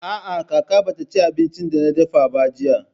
A'a, kaka ba ta ci abincin da na dafa ba jiya.